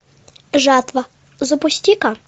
жатва запусти ка